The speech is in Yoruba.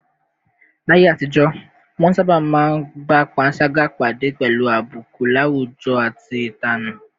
Láyé àtijọ́, wọ́n sábà máa ń bá panṣágà pàdé pẹ̀lú àbùkù láwùjọ àti ìtanù